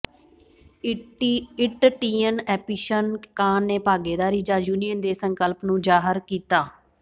ਇਟਟੀਅਨ ਐਪੀਸ਼ਨ ਕਾਨ ਨੇ ਭਾਗੀਦਾਰੀ ਜਾਂ ਯੂਨੀਅਨ ਦੇ ਸੰਕਲਪ ਨੂੰ ਜ਼ਾਹਰ ਕੀਤਾ